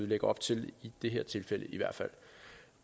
lægger op til i det her tilfælde